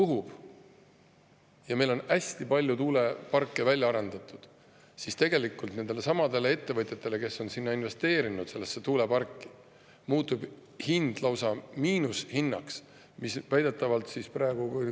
Kui meil on hästi palju tuuleparke välja arendatud ja tuul puhub, siis tegelikult nendele ettevõtjatele, kes on tuuleparki investeerinud, muutub hind lausa miinushinnaks, mis väidetavalt praegu …